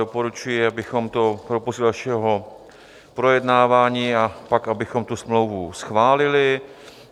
Doporučuji, abychom to propustili do dalšího projednávání a pak abychom tu smlouvu schválili.